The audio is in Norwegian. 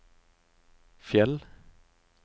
Fjell